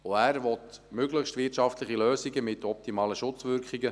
Auch er will möglichst wirtschaftliche Lösungen mit optimalen Schutzwirkungen;